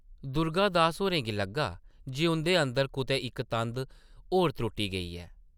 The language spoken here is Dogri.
दुर्गा दास होरें गी लग्गा जे उंʼदे अंदर कुतै इक तंद होर त्रुट्टी गेई ऐ ।